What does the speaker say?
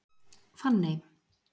Fanney